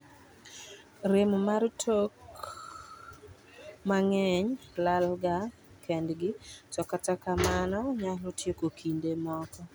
rem mar tok mang'eny lal ga kendgi to kata kamano mano nyalo tieko kinde moko